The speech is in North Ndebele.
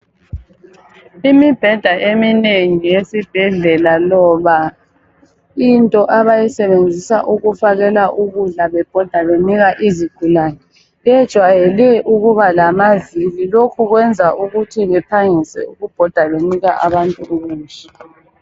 Imibheda eminengi yesibhedlela, loba into, abayisebenzisa ukufakela ukudla, bebhoda benika izigulane. Kujayele ukuba lamavili. Lokhu kwenza baphangise ukubhoda, benika abantu ukudla